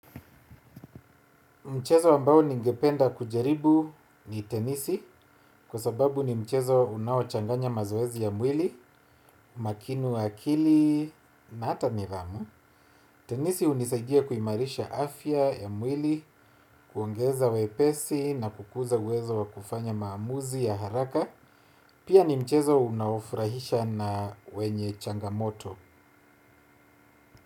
Mchezo ambao ningependa kujaribu ni tenisi kwa sababu ni mchezo unaochanganya mazoezi ya mwili makinu akili na hata mirama. Tenisi hunisadia kuimarisha afya ya mwili, kuongeza wepesi na kukuza wezo wa kufanya maamuzi ya haraka. Pia ni mchezo unaofurahisha na wenye changamoto.